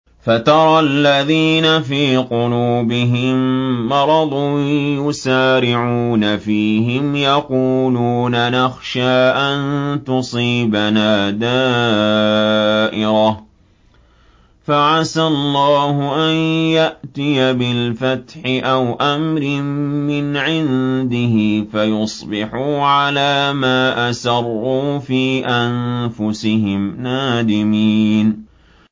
فَتَرَى الَّذِينَ فِي قُلُوبِهِم مَّرَضٌ يُسَارِعُونَ فِيهِمْ يَقُولُونَ نَخْشَىٰ أَن تُصِيبَنَا دَائِرَةٌ ۚ فَعَسَى اللَّهُ أَن يَأْتِيَ بِالْفَتْحِ أَوْ أَمْرٍ مِّنْ عِندِهِ فَيُصْبِحُوا عَلَىٰ مَا أَسَرُّوا فِي أَنفُسِهِمْ نَادِمِينَ